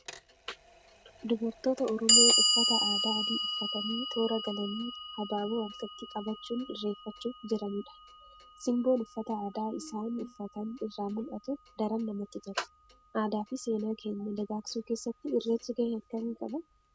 Dubartoota Oromoo uffata aadaa adii uffatanii toora galanii habaaboo harkatti qabachuun irreeffachuuf jiranidha. Simboon uffata aadaa isaan uffatan irraa mul'atu daran namatti tola. Aadaa fi seenaa keenya dagaagsuu keessatti irreechi gahee akkamii qaba?